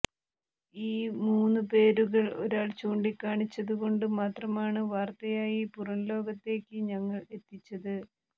ഈ മൂന്ന് പേരുകൾ ഒരാൾ ചൂണ്ടിക്കാണിച്ചതുകൊണ്ട് മാത്രമാണ് വാർത്തയായി പുറം ലോകത്തേക്ക് ഞങ്ങൾ എത്തിച്ചത്